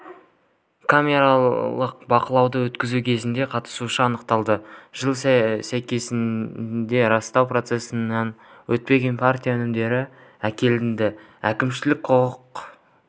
камералдық бақылауды өткізу кезінде қатысушысы анықталды жылы сәйкестігін растау процедурасынан өтпеген партия өнімдері әкелінді әкімшілік құқық